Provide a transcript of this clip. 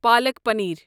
پالَک پنیر